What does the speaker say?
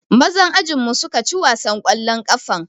Mazan ajinmu suka ci wasan ƙwallon ƙafan.